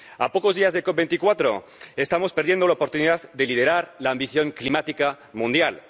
A pocos días de la COP24, estamos perdiendo la oportunidad de liderar la ambición climática mundial.